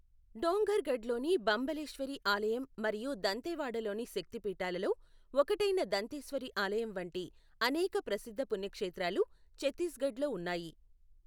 డోంగర్ఘడ్లోని బంబలేశ్వరి ఆలయం మరియు దంతేవాడలోని శక్తిపీఠాలలో, ఒకటైన దంతేశ్వరి ఆలయం వంటి అనేక ప్రసిద్ధ పుణ్యక్షేత్రాలు ఛత్తీస్గఢ్లో ఉన్నాయి.